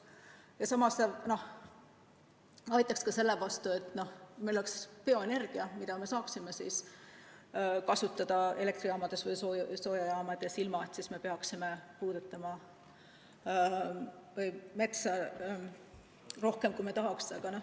Aga samas see aitaks kaasa, et meil oleks bioenergia, mida me saaksime kasutada elektrijaamades või soojajaamades, ilma et me peaksime puudutama metsa rohkem, kui me tahaksime.